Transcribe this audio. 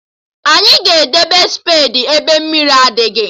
Anyị ga-edebe spedi ebe mmiri adịghị